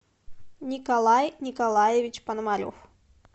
николай николаевич пономарев